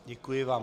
Děkuji vám.